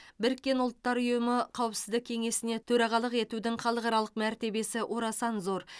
біріккен ұлттар ұйымы қауіпсіздік кеңесіне төрағалық етудің халықаралық мәртебесі орасан зор